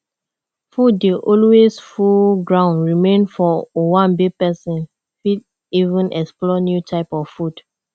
food dey alway full ground remain for owanbe person fit even explore new type of food